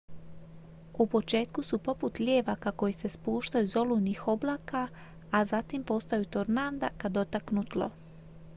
u početku su poput lijevaka koji se spuštaju iz olujnih oblaka a zatim postaju tornada kad dotaknu tlo